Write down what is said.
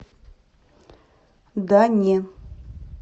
да не